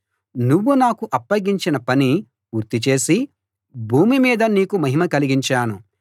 నువ్వు నాకు అప్పగించిన పని పూర్తి చేసి భూమి మీద నీకు మహిమ కలిగించాను